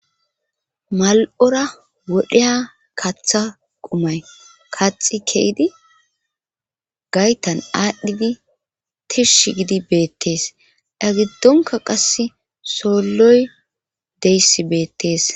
mal7ora wodheya kaththa qumay kaxi keeydi gaytan aadhdhidi tiish gidi beettees eya giddonka qasse soolloy deyssi beettees.